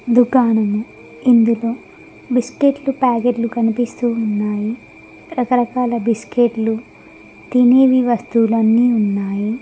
దుకాణము ఇందులో బిస్కెట్లు ప్యాకెట్లు కనిపిస్తూ ఉన్నాయి రకరకాల బిస్కెట్లు తినేవి వస్తువులు అన్నీ ఉన్నాయి.